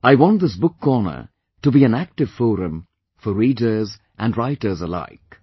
I want this book corner to be an active forum for readers & writers alike